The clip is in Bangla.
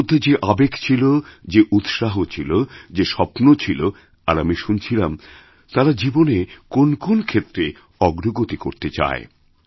তাদের মধ্যে যে আবেগ ছিল যে উৎসাহ ছিল যে স্বপ্ন ছিল আর আমিশুনছিলাম তারা জীবনে কোন কোন ক্ষেত্রে অগ্রগতি করতে চায়